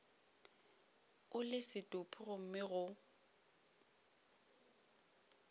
o le setopo gomme go